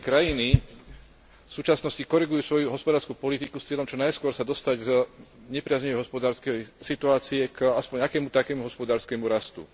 Všetky krajiny v súčasnosti korigujú svoju hospodársku politiku s cieľom čo najskôr sa dostať z nepriaznivej hospodárskej situácie aspoň k akému takému hospodárskemu rastu.